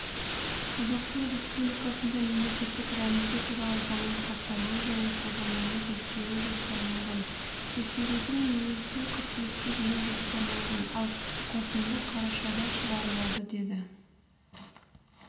қазақстан республикасында мемлекеттік рәміздер туралы заңның сақталуын және қолдануын тексеру жоспарланған тексерудің өзі қыркүйекке дейін жоспарланған ал қорытынды қарашада шығарылады деді